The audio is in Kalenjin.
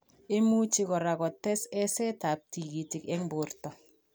Imuchi kora kotes esetab tigikyet eng' borto